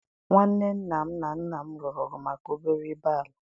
Nwanne nna m na nna m lụrụ ọgụ maka obere ibe ala.